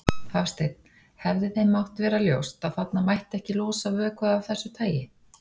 Hafsteinn: Hefði þeim mátt vera ljóst að þarna mætti ekki losa vökva af þessu tagi?